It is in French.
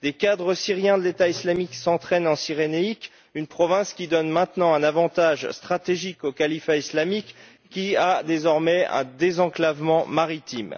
Des cadres syriens de l'État islamique s'entraînent en Cyrénaïque, une province qui donne maintenant un avantage stratégique au califat islamique qui a désormais un désenclavement maritime.